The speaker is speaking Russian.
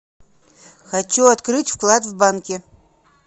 хочу открыть вклад в банке